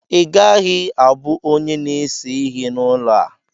Ị gaghị abụ onye na-ese ihe n'ụlọ a!